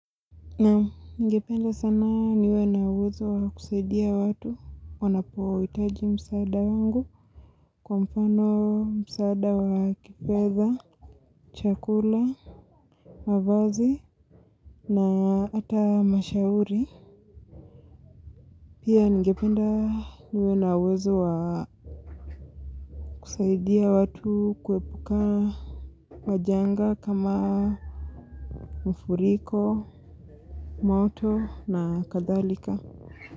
Naam, ningependa sana niwe na uwezo wa kusaidia watu, wanapohitaji msaada wangu, kwa mfano msaada wa kifedha, chakula, mavazi, na hata ushauri. Pia ningependa niwe na uwezo wa kusaidia watu kuepukana na majanga kama mafuriko, moto na kadhalika.